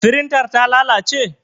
Firintar ta lalace?